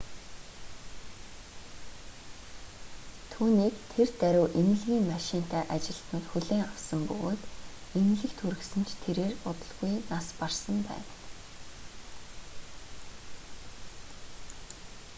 түүнийг тэр даруй эмнэлгийн машинтай ажилтнууд хүлээн авсан бөгөөд эмнэлэгт хүргэсэн ч тэрээр удалгүй нас барсан байна